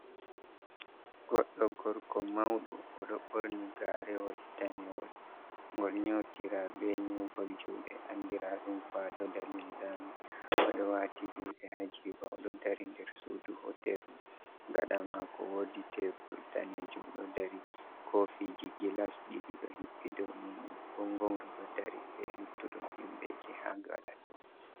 Goddo gorko mauɗo oɗo ɓorni garewol danewol, ngol nyotira be nyugol juɗe andira ɗum kwaɗo da linzami, oɗo wati juɗe ha jiba oɗo dari nder sudu hoterru, gaɗa mako wodi tebul danejum ɗo dari, kofiji gilas ɗiɗi ɗo hippi dow muɗum, gongongru ɗo dari be luttuɗum himɓe ofje ha gaɗa to.